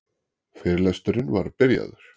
Fyrirlesturinn var byrjaður.